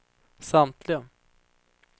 samtliga